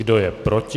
Kdo je proti?